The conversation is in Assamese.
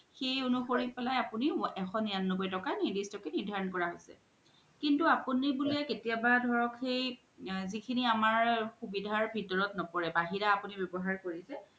সেই অনুসাৰি পেলাই আপুনি এশ নিৰান্নবৈ তকাৰ নিৰ্দিষ্ট কে নিৰ্ধাৰন কৰা হৈছে কিন্তু আপুনিয়ে বুলে কেতিয়া বা ধৰক সেই জিখিনি আমাৰ সুবিধাৰ ভিতৰত নপৰে বাহিৰে আপুনি ৱ্যবহাৰ কৰিছে